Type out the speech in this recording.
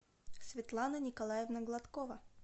светлана николаевна гладкова